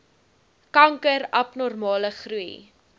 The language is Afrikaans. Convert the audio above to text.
kanker abnormale groei